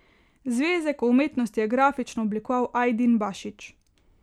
Zvezek o umetnosti je grafično oblikoval Ajdin Bašić.